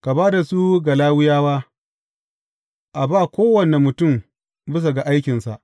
Ka ba da su ga Lawiyawa, a ba kowane mutum bisa ga aikinsa.